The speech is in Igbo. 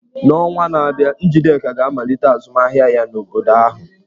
N'ọnwa na-abịa, Njideka ga-amalite azụmahịa ya n'obodo ahụ.